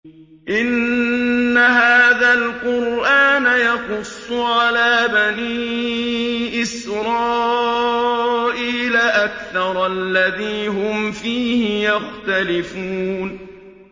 إِنَّ هَٰذَا الْقُرْآنَ يَقُصُّ عَلَىٰ بَنِي إِسْرَائِيلَ أَكْثَرَ الَّذِي هُمْ فِيهِ يَخْتَلِفُونَ